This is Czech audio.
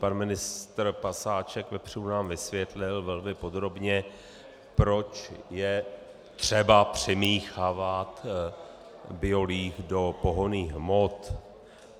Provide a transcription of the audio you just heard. Pan ministr pasáček vepřů nám vysvětlil velmi podrobně, proč je třeba přimíchávat biolíh do pohonných hmot.